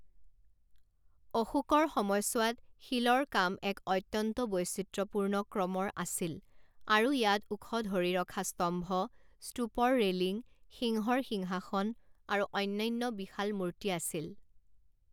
অশোকৰ সময়ছোৱাত, শিলৰ কাম এক অত্যন্ত বৈচিত্ৰ্যপূৰ্ণ ক্ৰমৰ আছিল আৰু ইয়াত ওখ ধৰি ৰখা স্তম্ভ, স্তূপৰ ৰেলিং, সিংহৰ সিংহাসন আৰু অন্যান্য বিশাল মূৰ্তি আছিল।